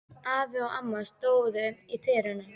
Afi og amma stóðu í dyrunum.